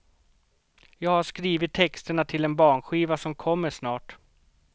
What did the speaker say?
Jag har skrivit texterna till en barnskiva som kommer snart.